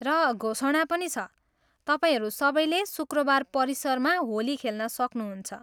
र घोषणा पनि छ, तपाईँहरू सबैले शुक्रबार परिसरमा होली खेल्न सक्नुहुन्छ।